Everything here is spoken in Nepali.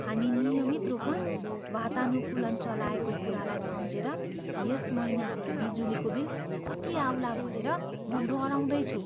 हामी नियमित रूपमा वातानुकूलन चलाएको कुरालाई सम्झेर यस महिना हाम्रो बिजुलीको बिल कति आउला भनेर म डराउँदै छु।